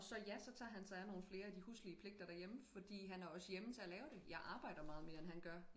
Også ja så tager han sig af nogle flere af de huslige pligter derhjemme fordi han er også hjemme til at lave det jeg arbejder meget mere end han gør